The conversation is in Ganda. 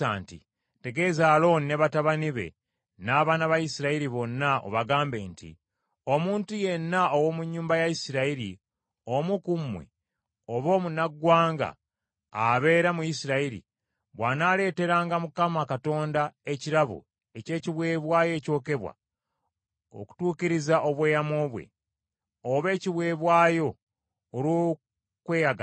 “Tegeeza Alooni ne batabani be n’abaana ba Isirayiri bonna, obagambe nti, Omuntu yenna ow’omu nnyumba ya Isirayiri omu ku mmwe, oba omunnaggwanga abeera mu Isirayiri, bw’anaaleeteranga Mukama Katonda ekirabo eky’ekiweebwayo ekyokebwa okutuukiriza obweyamo bwe, oba ekiweebwayo olw’okweyagalira,